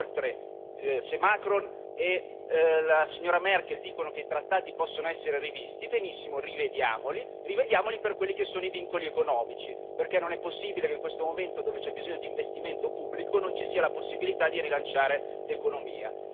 Inoltre, se Macron e la signora Merkel dicono che i trattati possono essere rivisti, benissimo, rivediamoli, e rivediamoli per quelli che sono i vincoli economici, perché non è possibile che in questo momento dove c'è bisogno di investimento pubblico non ci sia la possibilità di rilanciare l'economia.